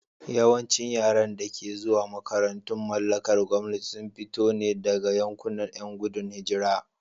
Yawancin yaran da ke zuwa makarantun mallakar gwamnati sun fito ne daga yankunan ƴan gudun hijira.